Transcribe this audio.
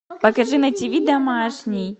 покажи на ти ви домашний